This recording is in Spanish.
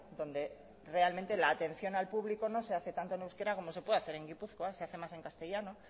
donde realmente la atención al público no se hace tanto en euskera como se puede hacer en gipuzkoa se hace más en castellano